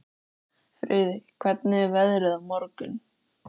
Friðey, hvernig er veðrið á morgun?